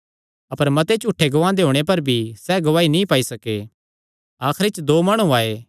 अपर मते झूठे गवाहां दे होणे पर भी सैह़ गवाही नीं पाई सके आखरी च दो माणु आये